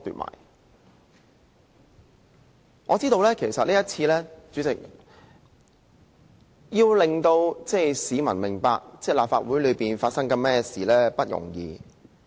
代理主席，其實這次要令市民明白立法會內正在發生甚麼事並不容易。